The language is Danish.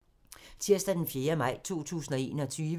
Tirsdag d. 4. maj 2021